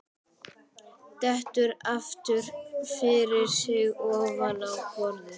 Dettur aftur fyrir sig ofan á borðið.